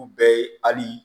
U bɛɛ ye hali